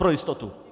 Pro jistotu.